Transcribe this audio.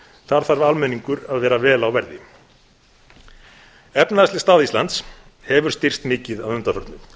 þar þarf almenningur að vera vel á verði efnahagsleg staða íslands hefur styrkst mikið að undanförnu